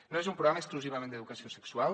no és un programa exclusivament d’educació sexual